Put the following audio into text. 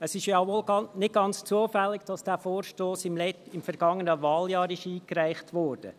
Es ist wohl nicht ganz zufällig, dass dieser Vorstoss im vergangenen Wahljahr eingereicht wurde.